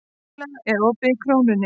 Milla, er opið í Krónunni?